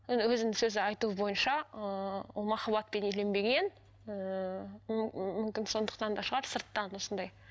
енді өзінің сөзі айтуы бойынша ыыы ол махаббатпен үйленбеген ііі мүмкін сондықтан да шығар сырттан осындай